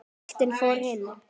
Boltinn fór inn.